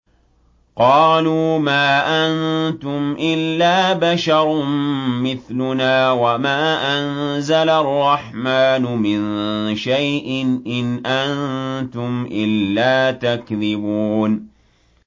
قَالُوا مَا أَنتُمْ إِلَّا بَشَرٌ مِّثْلُنَا وَمَا أَنزَلَ الرَّحْمَٰنُ مِن شَيْءٍ إِنْ أَنتُمْ إِلَّا تَكْذِبُونَ